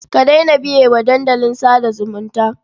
Ka daina biye wa dandalin sa da zumunta.